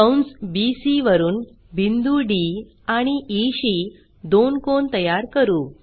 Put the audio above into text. कंस BCवरून बिंदू डी आणि ई शी दोन कोन तयार करू